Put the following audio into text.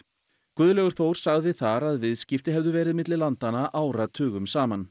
Guðlaugur Þór sagði þar að viðskipti hefðu verið milli landanna áratugum saman